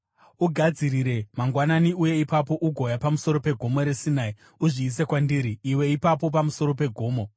Ugadzirire mangwanani, uye ipapo ugouya pamusoro peGomo reSinai. Uzviise kwandiri iwe ipapo pamusoro pegomo.